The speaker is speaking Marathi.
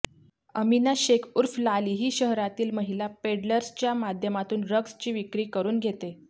अमिना शेख ऊर्फ लाली ही शहरातील महिला पेडलर्सच्या माध्यमातून ड्रग्जची विक्री करून घेते